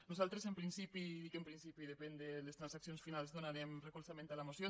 nosaltres en principi i dic en principi depèn de les transaccions finals donarem recolzament a la moció